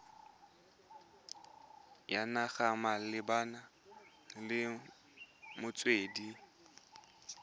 ya naga malebana le metswedi